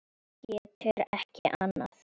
Getur ekki annað.